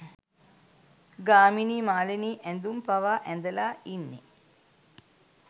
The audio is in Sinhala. ගාමිණියි මාලිනියි ඇඳුම් පවා ඇඳලා ඉන්නෙ